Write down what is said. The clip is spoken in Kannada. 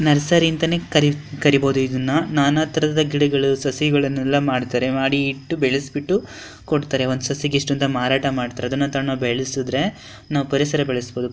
ನರ್ಸರಿ ಅಂತ ನೇ ಕರೀಬಹುದು ಇದನ್ನ ನಾನಾ ತರದ ಗಿಡಗಳು ಸಸಿಗಳು ಮಾಡತಾರೇ ಮಾಡ್ಬಿಟ್ಟು ಬೆಳಿಸ್ಬಿಟ್ಟು ಕೊಡ್ತಾರೆ ಒಂದು ಸಸಿ ಗೆ ಇಷ್ಟು ಎಂತ ಮಾರಾಟ ಮಾಡ್ತಾರೆ ಅದನ್ನು ತಂದು ಬೆಳಿಸಿದ್ರೆ ನಾವು ಪರಿಸರ ಬೆಳಿಸಬಹುದು.